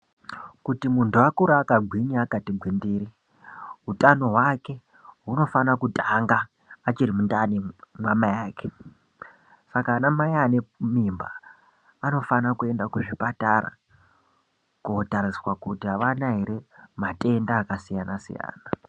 Kuti muntu akure aka ngwinya akati ngwindiri utano hwake hunofana kutanga achiri mundani ma mai ake saka ana mai achiri ane mimba anofana kuenda ku zvipatara ko tariswa kuti avana ere matenda aka siyana siyana.